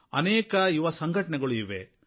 ಅನೇಕ ಯುವಸಂಘಟನೆಗಳು ಇವೆ